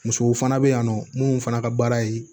Musow fana bɛ yan nɔ munnu fana ka baara ye